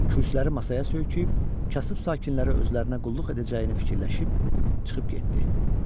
Kürsüləri masaya söykəyib, kasıb sakinləri özlərinə qulluq edəcəyini fikirləşib çıxıb getdi.